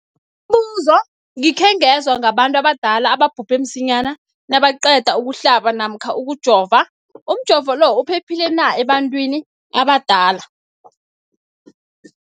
Umbuzo, gikhe ngezwa ngabantu abadala ababhubhe msinyana nabaqeda ukuhlaba namkha ukujova. Umjovo lo uphephile na ebantwini abadala?